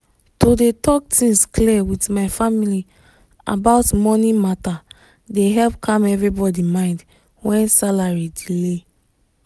to dey talk things clear with my family about money matter dey help calm everybody mind when salary delay.